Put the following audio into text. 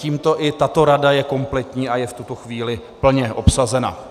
Tímto i tato rada je kompletní a je v tuto chvíli plně obsazena.